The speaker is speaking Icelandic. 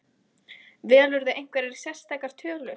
Velurðu einhverjar sérstakar tölur?